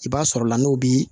I b'a sɔrɔ la n'o bi